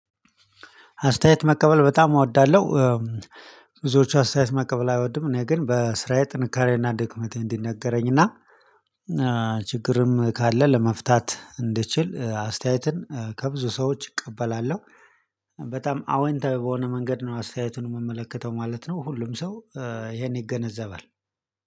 አስተያየት መቀበል በጣም እወዳለሁ። ብዙዎቹ አስተያየት መቀበል አይወዱም። እኔ ግን በስራዬ ጥንካሬና ድክመቴ እንዲነገረኝና ችግርም ካለ ለመፍታት እንድችል አስተያየትን ከብዙ ሰዎች እቀበላለሁ። በጣም አወንታዊ በሆነ መንገድ ነው አስተያየቱን የምመለከተው ማለት ነው። ሁሉም ሰው ይሄን ይገነዘባል